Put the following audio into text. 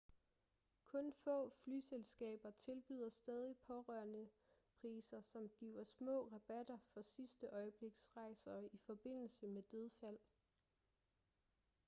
kun få flyselskaber tilbyder stadig pårørendepriser som giver små rabatter på sidste-øjebliksrejser i forbindelse med dødsfald